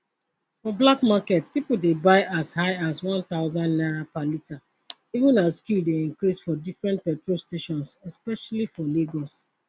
for black market pipo dey buy as high as n1000 per litre even as queue dey increase for different petrol stations especially for lagos